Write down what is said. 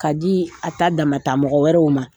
K'a di a ta damata mɔgɔ wɛrɛw ma.